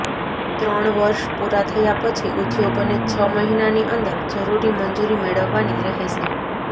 ત્રણ વર્ષ પુરા થયા પછી ઉદ્યોગોને છ મહિનાની અંદર જરૂરી મંજુરી મેળવવાની રહેશે